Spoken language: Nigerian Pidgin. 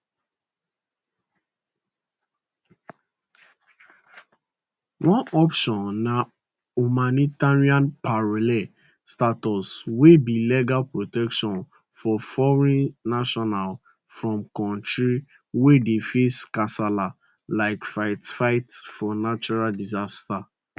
one option na humanitarian parole status wey be legal protection for foreign nationals from kontris wey dey face kasala like fightfight for natural disasters